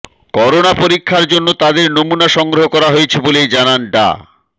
corona পরীক্ষার জন্য তাদের নমুনা সংগ্রহ করা হয়েছে বলে জানান ডা